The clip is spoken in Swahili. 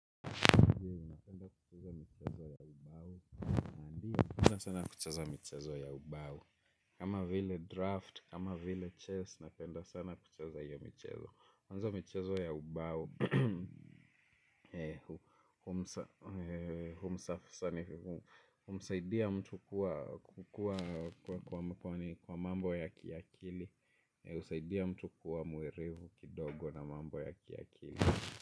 Kama vile draft, kama vile chess, napenda sana kucheza hiyo michezo ya ubao. Kama vile draft, kama vile chess, napenda sana kucheza hiyo michezo. Kwanza michezo ya ubao humsaidia mtu kukua kwa mambo ya kiakili. Husaidia mtu kuwa mwerevu kidogo na mambo ya kiakili.